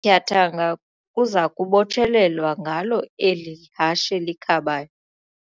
tyathanga kuza kubotshelelwa ngalo eli hashe likhabayo.